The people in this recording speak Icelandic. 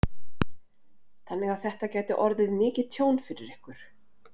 Þannig að þetta gæti orðið mikið tjón fyrir ykkur?